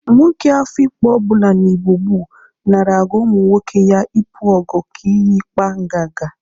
Nwoke Ehụgbọ ọbụla n'Igbo gboo nara agụ ụmụ nwoke ya ịpụ ogo ka ihi ikpa ngaga